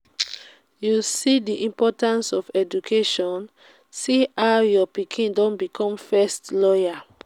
you see the importance of education? see how your pikin don become first lawyer